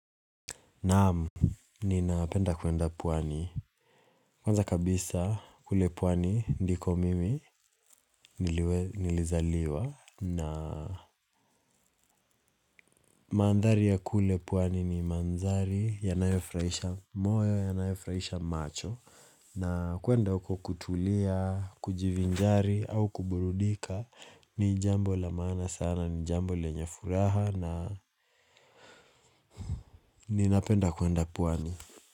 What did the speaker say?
Naam, ninapenda kuenda pwani. Kwanza kabisa kule pwani ndiko mimi nilizaliwa na mandhari ya kule pwani ni mandhari yanayofurahisha moyo yanayofurahisha macho. Na kuenda huko kutulia, kujivinjari au kuburudika ni jambo la maana sana ni jambo lenye furaha na ninapenda kuenda pwani.